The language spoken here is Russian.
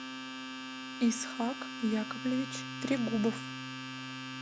исхак яковлевич трегубов